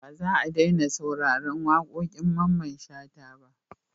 Ba za a daina sauraron waƙoƙin Mamman Shata ba.